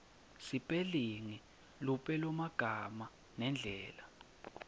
sipelingi lupelomagama nendlela